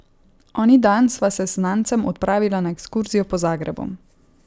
Oni dan sva se s znancem odpravila na ekskurzijo po Zagrebu.